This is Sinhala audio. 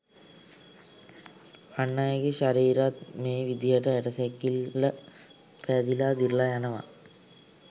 අන්අයගේ ශරීරත් මේ විදිහටම ඇටසැකිල්ල පෑදිලා දිරලා යනවා